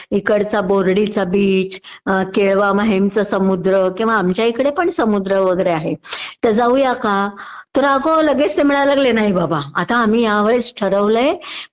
एकडचा बोर्डीचा बीच अ केळवा माहीम चा समुद्र किंवा आमच्या इकडे पण समुद्र वगैरे आहे.तर जाऊया का?तर अगं लगेच ते म्हणायला लागले की नाही बाबा आता आम्ही या वेळेस ठरवलंय